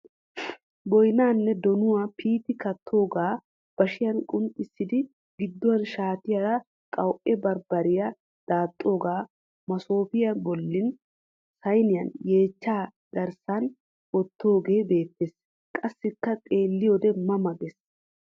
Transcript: Boyinaanne donuwaa piiti kattoogaa bashiyan qunxxissidi gidduwan shaatiyaara qawu'e bambbarya daaxxoogaa masoofiya bollan sayiniyan yeechchaa qaraassan wottoogee beettes. Qassikka xeelliyidee ma ma gees.